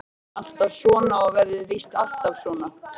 Það er alltaf svona og verður víst alltaf svona.